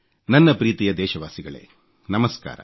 ನನ್ನ ಪ್ರೀತಿಯ ದೇಶವಾಸಿಗಳೇ ನಮಸ್ಕಾರ